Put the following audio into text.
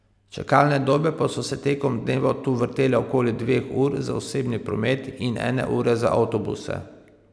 Čakalne dobe pa so se tekom dneva tu vrtele okoli dveh ur za osebni promet in ene ure za avtobuse.